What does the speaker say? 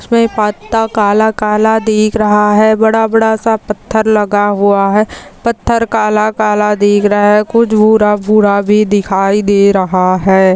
इसमें पत्ता काला काला दिख रहा है बड़ा बड़ा सा पत्थर लगा हुआ है पत्थर काला काला दिख रहा है कुछ भूरा भूरा भी दिखाई दे रहा है।